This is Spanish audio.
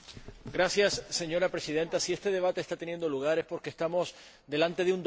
Señora Presidenta, si este debate está teniendo lugar es porque estamos ante un doble mandato.